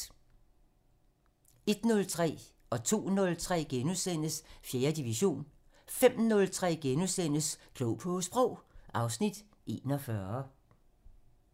01:03: 4. division * 02:03: 4. division * 05:03: Klog på Sprog (Afs. 41)*